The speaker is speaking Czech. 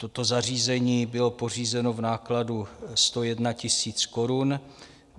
Toto zařízení bylo pořízeno v nákladu 101 000 korun.